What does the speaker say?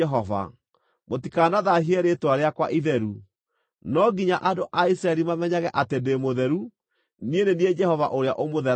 Mũtikanathaahie rĩĩtwa rĩakwa itheru. No nginya andũ a Isiraeli mamenyage atĩ ndĩ mũtheru. Niĩ nĩ niĩ Jehova ũrĩa ũmũtheragia,